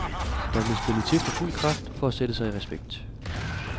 Der blev spillet til for fuld kraft for at sætte sig i respekt.